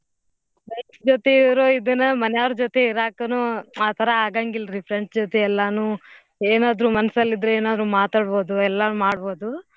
Friends ಜೊತಿ ಇರೋ ಇದುನ ಮನ್ಯಾವ್ರ್ ಜೊತೆ ಇರಾಕನೂ ಆತರಾ ಆಗಂಗಿಲ್ರಿ friends ಜೊತೆ ಎಲ್ಲಾನೂ ಏನಾದ್ರೂ ಮನ್ಸಲ್ಲಿದ್ರೆ ಏನಾದ್ರೂ ಮಾತಾದ್ಬೋದು ಎಲ್ಲಾನು ಮಾಡ್ಬೋದು.